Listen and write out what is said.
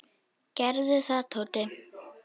Gerðu það, Tóti!